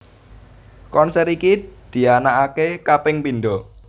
Konser iki dianakake kaping pindho